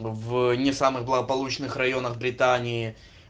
в не самых благополучных районах британии